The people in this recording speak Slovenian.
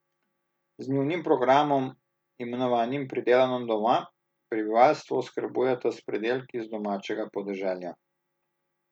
Z njunim programom, imenovanim Pridelano doma, prebivalstvo oskrbujeta s pridelki z domačega podeželja.